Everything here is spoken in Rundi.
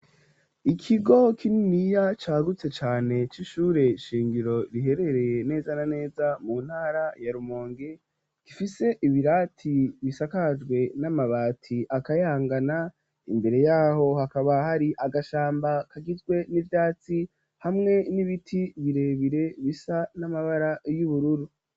Ikigo kininiya cagutse cane c'ishure ishingiro riherereye neza na neza mu ntara ya rumonge gifise ibirati bisakajwe n'amabati akayangana imbere yaho hakaba hari agashamba kagizwe n'ibyatsi hamwe n'ibiti birebire bisa n'amabara y'ubururu.